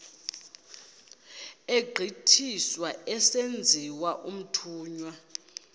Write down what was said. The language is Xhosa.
egqithiswa esenziwa umthunywa